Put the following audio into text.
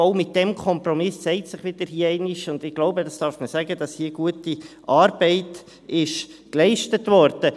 Auch mit diesem Kompromiss zeigt sich hier wieder einmal – und ich glaube, das darf man sagen –, dass hier gute Arbeit geleistet wurde.